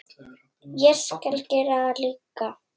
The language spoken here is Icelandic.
Ég skal gera það líka.